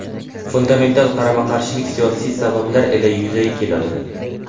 Fundamental qarama-qarshilik siyosiy sabablar ila yuzaga keladi.